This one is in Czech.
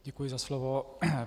Děkuji za slovo.